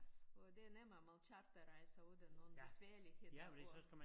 Og det nemmere med charterrejser uden nogen besværligheder og